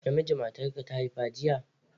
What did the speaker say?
Namiji matarka ta haifa jiya?